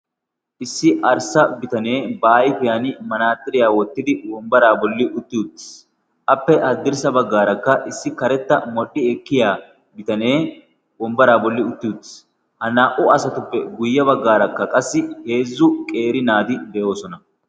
issi arssa bitanee ba ayfiyan manaaxiriyaa woottidi wombbaraa bolli utti uttiis. appe haddirssa baggaarakka issi karetta modhdhi ekkiya bitanee wombbaraa bolli utti uttiis. ha naa"u asatuppe guyye baggaarakka qassi eezzu qeeri naati de'oosona.